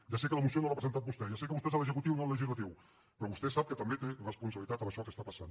ja sé que la moció no l’ha presentat vostè ja sé que vostè és l’executiu i no el legislatiu però vostè sap que també té responsabilitat en això que està passant